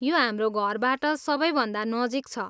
यो हाम्रो घरबाट सबैभन्दा नजिक छ।